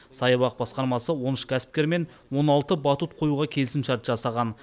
саябақ басқармасы он үш кәсіпкермен он алты батут қоюға келісімшарт жасаған